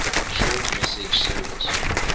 short message service